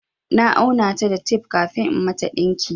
Na auna ta da tape kafin in mata ɗinki.